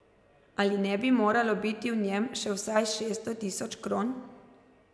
Ali ne bi moralo biti v njem še vsaj šeststo tisoč kron?